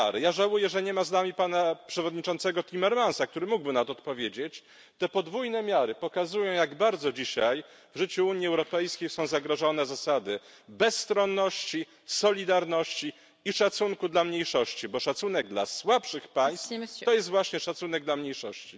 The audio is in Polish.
Żałuję, że nie ma tu z nami przewodniczącego Timmermansa, który mógłby na to odpowiedzieć te podwójne miary pokazują, jak bardzo dzisiaj w życiu Unii Europejskiej są zagrożone zasady bezstronności, solidarności i szacunku dla mniejszości, bo szacunek dla słabszych państw to jest właśnie szacunek dla mniejszości.